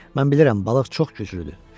Mən bilirəm, balıq çox güclüdür.